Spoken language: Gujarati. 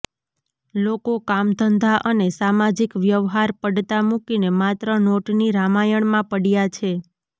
લોકો કામધંધા અને સામાજિક વ્યવહાર પડતા મૂકીને માત્ર નોટની રામાયણમાં પડયા છે